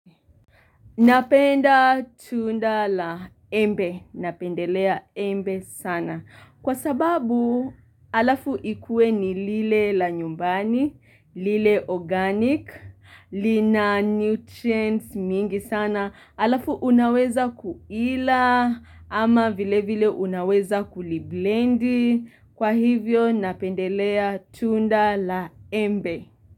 Napenda tunda la embe, napendelea embe sana, kwa sababu alafu ikue ni lile la nyumbani, lile organic, lina nutrients mingi sana, alafu unaweza kuila ama vilevile unaweza kuliblendi, kwa hivyo napendelea tunda la embe.